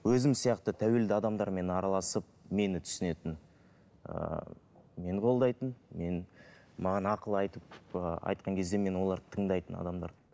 өзім сияқты тәуелді адамдармен араласып мені түсінетін ыыы мені қолдайтын мен маған ақыл айтып ы айтқан кезде мен оларды тыңдайтын адамдар